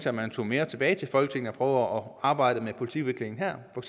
at man tog mere tilbage til folketinget og at arbejde med politikudvikling her for